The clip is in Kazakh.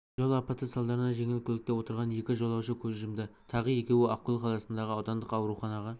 жол апаты салдарынан жеңіл көлікте отырған екі жолаушы көз жұмды тағы екеуі ақкөл қаласындағы аудандық ауруханаға